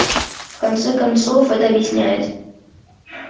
в конце концов это объясняет